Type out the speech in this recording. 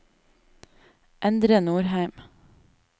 Endre Norheim